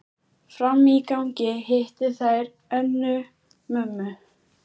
Frammi í gangi hittu þær Önnu, mömmu